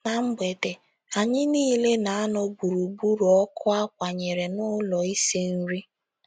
Ná mgbede, anyị niile na - anọ gburugburu ọkụ a kwanyere n’ụlọ isi nri..